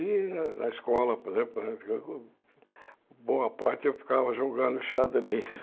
E na escola, por exemplo, boa parte eu ficava jogando xadrez.